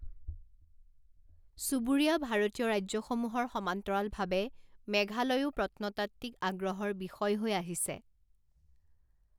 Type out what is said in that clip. চুবুৰীয়া ভাৰতীয় ৰাজ্যসমূহৰ সমান্তৰালভাৱে মেঘালয়ও প্ৰত্নতাত্ত্বিক আগ্ৰহৰ বিষয় হৈ আহিছে।